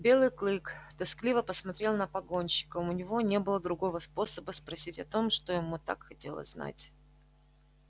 белый клык тоскливо посмотрел на погонщика у него не было другого способа спросить о том что ему так хотелось знать